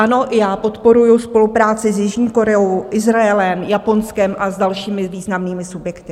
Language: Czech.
Ano, já podporuji spolupráci s Jižní Koreou, Izraelem, Japonskem a s dalšími významnými subjekty.